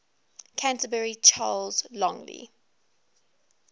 canterbury charles longley